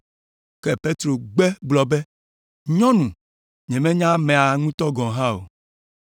Ke Petro gbe gblɔ be, “Nyɔnu, nyemenya amea ŋutɔ gɔ̃ hã o!”